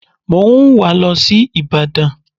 Mo ń wà á lọ sí ìbàdàn